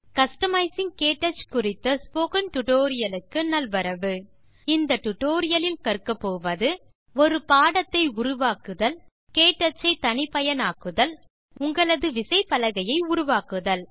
customising KTouch குறித்த spoken tutorial க்கு நல்வரவு இந்த டுடோரியலில் கற்கப்போவது ஒரு பாடத்தை உருவாக்குதல் க்டச் ஐ தனிப்பயனாக்குதல் உங்களது விசைப்பலகையை உருவாக்குதல்